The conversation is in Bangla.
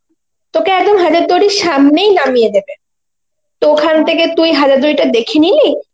তোকে একদম হাজার দুয়ারীর সামনেই নামিয়ে দেবে, তো ওখান থেকে তুই হাজার দুয়ারিটা দেখে নিলি